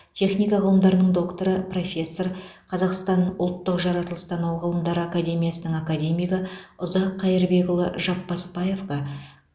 техника ғылымдарының докторы профессор қазақстан ұлттық жаратылыстану ғылымдары академиясының академигі ұзақ қайырбекұлы жапбасбаевқа